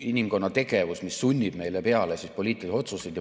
... inimkonna tegevus, mis sunnib meile peale poliitilisi otsuseid.